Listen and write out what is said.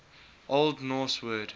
old norse word